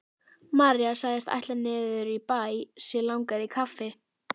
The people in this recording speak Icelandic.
María sagðist ætla niður í bæ, sig langaði í kaffi.